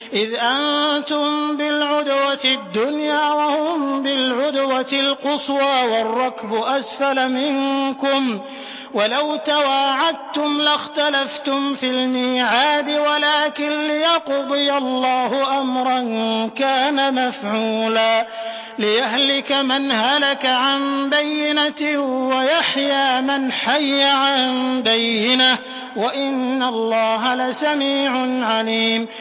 إِذْ أَنتُم بِالْعُدْوَةِ الدُّنْيَا وَهُم بِالْعُدْوَةِ الْقُصْوَىٰ وَالرَّكْبُ أَسْفَلَ مِنكُمْ ۚ وَلَوْ تَوَاعَدتُّمْ لَاخْتَلَفْتُمْ فِي الْمِيعَادِ ۙ وَلَٰكِن لِّيَقْضِيَ اللَّهُ أَمْرًا كَانَ مَفْعُولًا لِّيَهْلِكَ مَنْ هَلَكَ عَن بَيِّنَةٍ وَيَحْيَىٰ مَنْ حَيَّ عَن بَيِّنَةٍ ۗ وَإِنَّ اللَّهَ لَسَمِيعٌ عَلِيمٌ